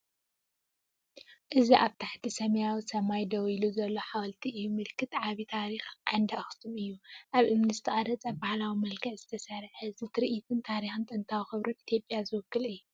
እዚ ኣብ ትሕቲ ሰማያዊ ሰማይ ደው ኢሉ ዘሎ ሓወልቲ እዩ። ምልክት ዓቢ ታሪኽ፡ ዓንዲ ኣኽሱም እዩ። ኣብ እምኒ ዝተቐርጸን ብባህላዊ መልክዕ ዝተሰርዐን እዚ ትርኢት ንታሪኽን ጥንታዊ ክብርን ኢትዮጵያ ዝውክል እዩ።